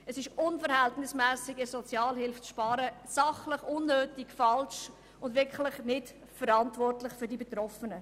Es ist unverhältnismässig, in der Sozialhilfe zu sparen, sachlich unnötig, falsch und wirklich nicht verantwortungsvoll gegenüber den Betroffenen.